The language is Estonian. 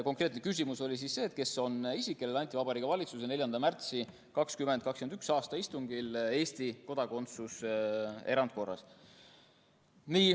" Konkreetne küsimus oli see, et kes on isik, kellele anti Vabariigi Valitsuse 4. märtsi 2021. aasta istungil Eesti kodakondsus erandkorras.